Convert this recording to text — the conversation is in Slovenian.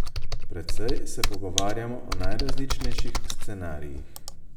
Precej se pogovarjamo o najrazličnejših scenarijih.